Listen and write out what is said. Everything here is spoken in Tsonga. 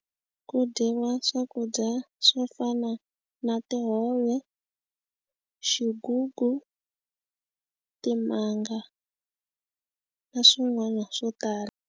Ku dyiwa swakudya swo fana na tihove xigugu timanga na swin'wana swo tala.